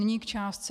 Nyní k částce.